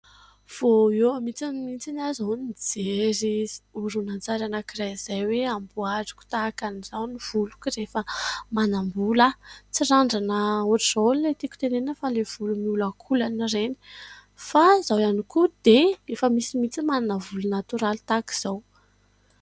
Voa eo mintsy mintsiny izaho no nijery oronan-tsary anankiray izay hoe hamboariko tahaka an'izao ny voloky rehefa manam-bola aho. Tsy randrana hoatrin' izao no tiko tenena fa ilay volo miolakolana ireny, fa izao ihany koa dia efa misy mihintsy ny manana volo natioraly tahaka izao.